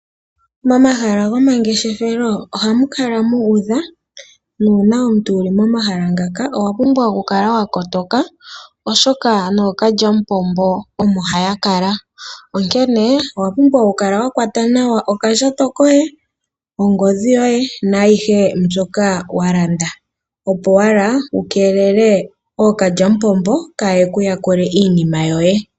Momahala gomangeshefelo ohamu kala mu udha nuuna omuntu wu li momahala ngaka owa pumbwa oku kala wa kotoka oshoka nookalyamupombo omo haya kala. Owa pumbwa oku kala wa kwata nawa okandjato koye, ongodhi yoye naayihe mbyoka wa landa opo wala wu keelele ookalyamupombo kaa ye ku yakule iinima yoye.